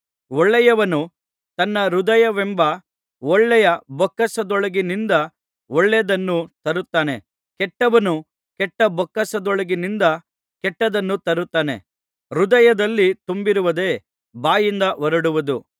ಒಳ್ಳೆಯವನು ತನ್ನ ಹೃದಯವೆಂಬ ಒಳ್ಳೆಯ ಬೊಕ್ಕಸದೊಳಗಿನಿಂದ ಒಳ್ಳೆಯದನ್ನು ತರುತ್ತಾನೆ ಕೆಟ್ಟವನು ಕೆಟ್ಟಬೊಕ್ಕಸದೊಳಗಿನಿಂದ ಕೆಟ್ಟದ್ದನ್ನು ತರುತ್ತಾನೆ ಹೃದಯದಲ್ಲಿ ತುಂಬಿರುವುದೇ ಬಾಯಿಂದ ಹೊರಡುವುದು